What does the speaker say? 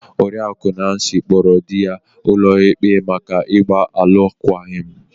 Oriakụ Nancy kpọọrọ di ya ụlọikpe maka ịgba alụkwaghịm.